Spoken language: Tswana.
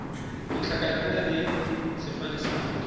ditlhakaina le sefane sa motho